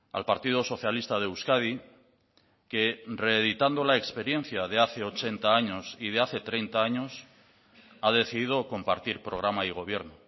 al partido socialista de euskadi que reeditando la experiencia de hace ochenta años y de hace treinta años ha decidido compartir programa y gobierno